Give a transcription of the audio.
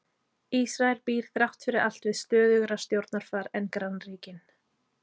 Ísrael býr þrátt fyrir allt við stöðugra stjórnarfar en grannríkin.